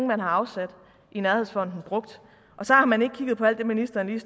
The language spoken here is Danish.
man har afsat i nærhedsfonden brugt og så har man ikke kigget på alt det ministeren lige